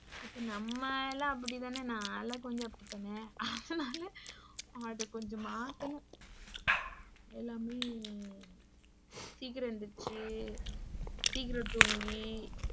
இப்ப நம்ம லாம் அப்படிதான நா லாம் கொஞ்சம் அப்படிதான அதுனால அத கொஞ்சம் மாத்தனும். எல்லாமே சீக்கிரம் எந்திரிச்சு சீக்கிரம் தூங்கி,